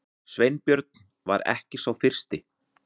Sveinbjörn var ekki sá fyrsti.